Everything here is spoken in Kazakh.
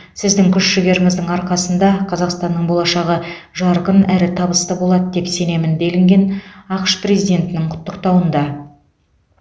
сіздің күш жігеріңіздің арқасында қазақстанның болашағы жарық әрі табысты болады деп сенемін делінген ақш президентінің құттықтауында